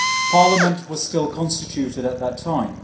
Parliament was still constituted at that time.